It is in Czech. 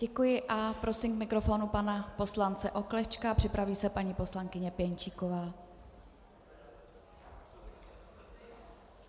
Děkuji a prosím k mikrofonu pana poslance Oklešťka, připraví se paní poslankyně Pěnčíková.